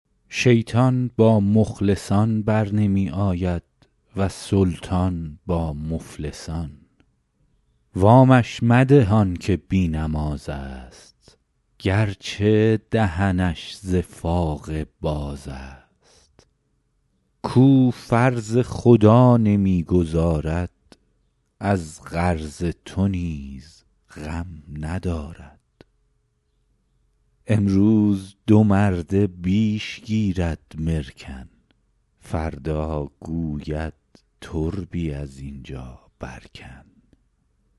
شیطان با مخلصان برنمی آید و سلطان با مفلسان وامش مده آن که بی نماز است گرچه دهنش ز فاقه باز است کاو فرض خدا نمی گزارد از قرض تو نیز غم ندارد امروز دو مرده بیش گیرد مرکن فردا گوید تربی از اینجا بر کن